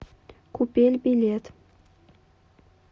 купель билет